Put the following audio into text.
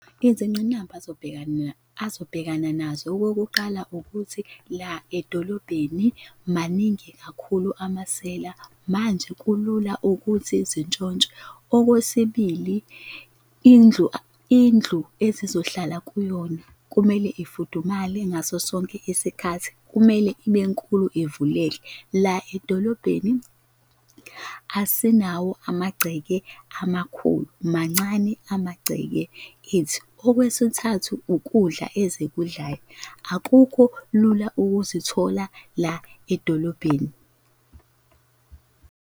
Izinqinamba azobhekana azobhekana nazo. Okokuqala, ukuthi la edolobheni maningi kakhulu amasela manje kulula ukuthi zintshontshe. Okwesibili, indlu indlu ezizohlala kuyona kumele ifudumale ngaso sonke isikhathi, kumele ibe nkulu ivuleke. La edolobheni asinawo amagceke amakhulu, mancane amagceke ethu. Okwesithathu, ukudla ezikudlayo akukho lula ukuzithola la edolobheni.